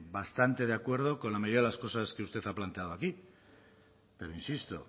bastante de acuerdo con la mayoría de las cosas que usted ha planteado aquí pero insisto